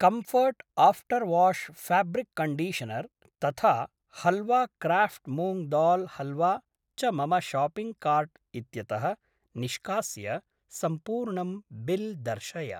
Comfort after wash fabric conditioner तथा halwa craft moong dal halwa च मम शाप्पिङ्ग् कार्ट् इत्यतः निष्कास्य सम्पूर्णं बिल् दर्शय।